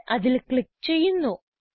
ഞാൻ അതിൽ ക്ലിക്ക് ചെയ്യുന്നു